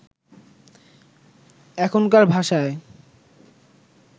এখনকার ভাষায়